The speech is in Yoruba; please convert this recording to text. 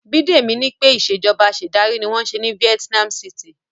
Bidemi ní pé Ìṣèjọba Afẹ̀sìndarí ni wọ́n ń ṣe ní Vietnam city